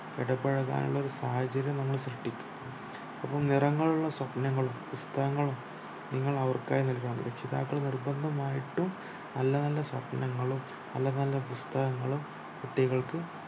ഇടപഴനുള്ള സാഹചര്യം നമ്മൾ സൃഷ്ടിക്കണം അപ്പോൾ നിറങ്ങളുള്ള സ്വപ്നങ്ങളും പുസ്തങ്ങളും നിങ്ങൾ അവർക്കായി നൽകണമ് രക്ഷിതാക്കൾ നിർബന്ധമായിട്ടും നല്ല നല്ല സ്വപ്നങ്ങളും നല്ല നല്ല പുസ്തങ്ങളും കുട്ടികൾക്ക്